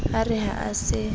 e re ha a se